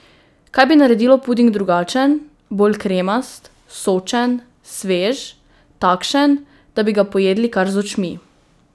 Kaj bi naredilo puding drugačen, bolj kremast, sočen, svež, takšen, da bi ga pojedli kar z očmi?